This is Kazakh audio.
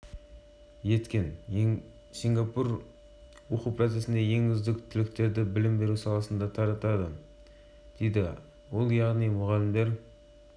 экономикасы мен өмір сүру деңгейін арттыру үшін білімге қатты ден қойып отыр сингапур ұлттық институтындағы